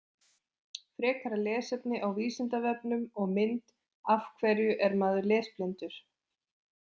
Frekara lesefni á Vísindavefnum og mynd Af hverju er maður lesblindur?